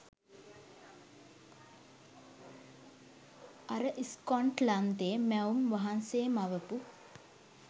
අර ස්කොට්ලන්තේ මැවුම් වහන්සේ මවපු